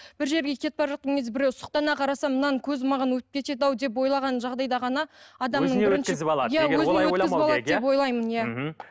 бір жерге кетіп бара жатқан кезде біреу сұқтана қараса мынаның көзі маған өтіп кетеді ау деп ойлаған жағдайда ғана адамның ойлаймын иә мхм